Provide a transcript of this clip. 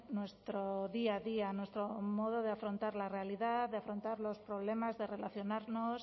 nuestro día a día nuestro modo de afrontar la realidad de afrontar los problemas de relacionarnos